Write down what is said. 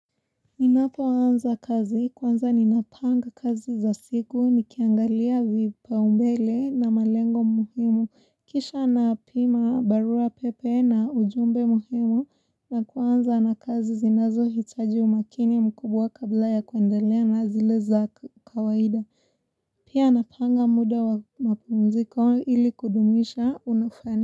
Ninapoanza kazi kwanza ninapanga kazi za siku nikiangalia vipaumbele na malengo muhimu kisha napima barua pepe na ujumbe muhimu na kwanza na kazi zinazo hitaji umakini mkubwa kabla ya kuendelea na zile za kawaida pia napanga muda wa mapumziko ili kudumisha unafani.